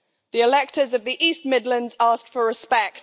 The electors of the East Midlands asked for respect.